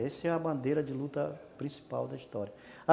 Essa é a bandeira de luta principal da história.